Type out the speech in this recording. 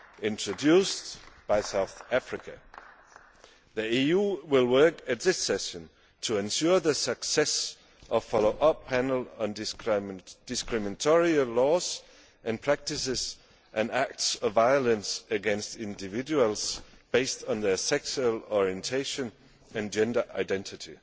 introduced by South Africa. The EU will work at this session to ensure the success of the follow up panel on discriminatory laws and practices and acts of violence against individuals based on their sexual orientation and gender identity.